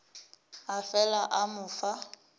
a fela a mo fa